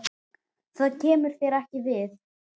Það kemur þér ekki við.